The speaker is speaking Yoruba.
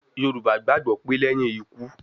Yoruba gbagbo pe leyin iku